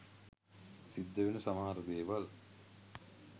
සිද්දවෙන සමහර දේවල්.